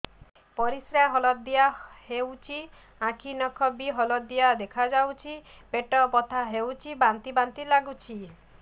ପରିସ୍ରା ହଳଦିଆ ହେଉଛି ଆଖି ନଖ ବି ହଳଦିଆ ଦେଖାଯାଉଛି ପେଟ ବଥା ହେଉଛି ବାନ୍ତି ବାନ୍ତି ଲାଗୁଛି